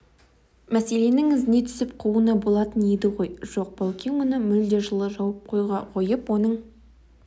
мәселенің ізіне түсіп қууына болатын еді ғой жоқ баукең мұны мүлде жылы жауып қойып оның